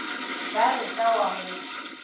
ba re ka wa go